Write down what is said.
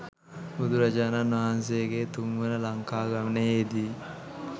බුදුරජාණන් වහන්සේගේ තුන්වන ලංකා ගමනයේදි